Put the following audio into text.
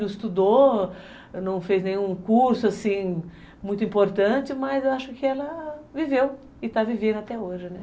Não estudou, não fez nenhum curso, assim, muito importante, mas eu acho que ela viveu e está vivendo até hoje, né?